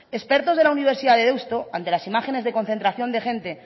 expertos de la universidad de deusto ante las imágenes de concentración de gente